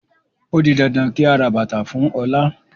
Ó di dandan kí a ra bàtàa fún Ọlá